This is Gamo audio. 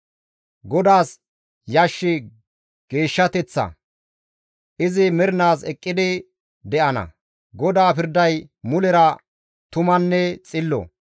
GODAAS yashshi geeshshateththa; izi mernaas eqqidi de7ana. GODAA pirday mulera tumanne xillo.